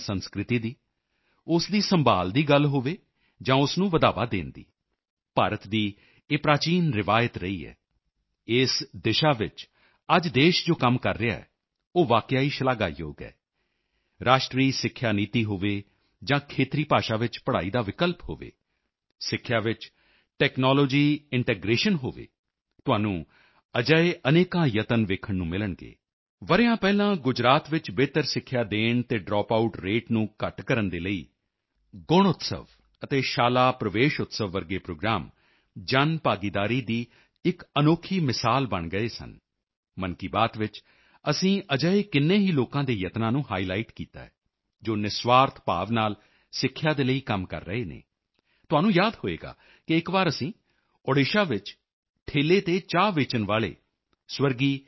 ਗੱਲ ਸਿੱਖਿਆ ਦੀ ਹੋਵੇ ਜਾਂ ਸੰਸਕ੍ਰਿਤੀ ਦੀ ਉਸ ਦੀ ਸੰਭਾਲ਼ ਦੀ ਗੱਲ ਹੋਵੇ ਜਾਂ ਉਸ ਨੂੰ ਵਡਾਵਾਂ ਦੇਣ ਦੀ ਭਾਰਤ ਦੀ ਇਹ ਪ੍ਰਾਚੀਨ ਰਵਾਇਤ ਰਹੀ ਹੈ ਇਸ ਦਿਸ਼ਾ ਵਿੱਚ ਅੱਜ ਦੇਸ਼ ਜੋ ਕੰਮ ਕਰ ਰਿਹਾ ਹੈ ਉਹ ਵਾਕਿਆ ਹੀ ਸ਼ਲਾਘਾਯੋਗ ਹੈ ਰਾਸ਼ਟਰੀ ਸਿੱਖਿਆ ਨੀਤੀ ਨੈਸ਼ਨਲ ਐਡੂਕੇਸ਼ਨ ਪੋਲਿਸੀ ਹੋਵੇ ਜਾਂ ਖੇਤਰੀ ਭਾਸ਼ਾ ਵਿੱਚ ਪੜ੍ਹਾਈ ਦਾ ਵਿਕਲਪ ਹੋਵੇ ਸਿੱਖਿਆ ਵਿੱਚ ਟੈਕਨੋਲੋਜੀ ਇੰਟੈਗ੍ਰੇਸ਼ਨ ਟੈਕਨਾਲੋਜੀ ਇੰਟੀਗ੍ਰੇਸ਼ਨ ਹੋਵੇ ਤੁਹਾਨੂੰ ਅਜਿਹੇ ਅਨੇਕਾਂ ਯਤਨ ਵੇਖਣ ਨੂੰ ਮਿਲਣਗੇ ਵਰ੍ਹਿਆਂ ਪਹਿਲਾਂ ਗੁਜਰਾਤ ਵਿੱਚ ਬਿਹਤਰ ਸਿੱਖਿਆ ਦੇਣ ਅਤੇ ਡਰੋਪਆਊਟ ਰੇਟਸ ਡਰਾਪਆਉਟ ਰੇਟਸ ਨੂੰ ਘੱਟ ਕਰਨ ਦੇ ਲਈ ਗੁਣਉਤਸਵ ਅਤੇ ਸ਼ਾਲਾ ਪ੍ਰਵੇਸ਼ਉਤਸਵ ਵਰਗੇ ਪ੍ਰੋਗਰਾਮ ਜਨਭਾਗੀਦਾਰੀ ਦੀ ਇਕ ਅਨੋਖੀ ਮਿਸਾਲ ਬਣ ਗਏ ਸਨ ਮਨ ਕੀ ਬਾਤ ਵਿੱਚ ਅਸੀਂ ਅਜਿਹੇ ਕਿੰਨੇ ਹੀ ਲੋਕਾਂ ਦੇ ਯਤਨਾਂ ਨੂੰ ਹਾਈਲਾਈਟ ਹਾਈਲਾਈਟ ਕੀਤਾ ਹੈ ਜੋ ਨਿਰਸਵਾਰਥ ਭਾਵ ਨਾਲ ਸਿੱਖਿਆ ਦੇ ਲਈ ਕੰਮ ਕਰ ਰਹੇ ਹਨ ਤੁਹਾਨੂੰ ਯਾਦ ਹੋਵੇਗਾ ਕਿ ਇਕ ਵਾਰ ਅਸੀਂ ਓਡੀਸ਼ਾ ਵਿੱਚ ਠੇਲ੍ਹੇ ਤੇ ਚਾਹ ਵੇਚਣ ਵਾਲੇ ਸਵਰਗੀ ਡੀ